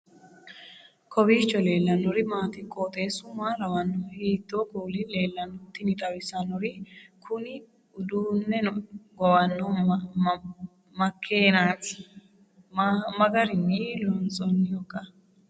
kowiicho leellannori maati ? qooxeessu maa lawaanno ? hiitoo kuuli leellanno ? tini xawissannori kuni uduunneno gowanno makeenaati .maa garinni loonsannihoiika?